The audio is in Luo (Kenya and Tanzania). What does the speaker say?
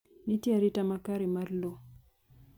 Nitie arita makare mar lowo